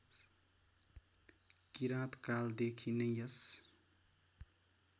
किराँतकालदेखि नै यस